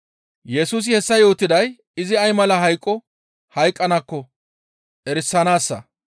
Yesusi hessa yootiday izi ay mala hayqo hayqqanaakko erisanaassa.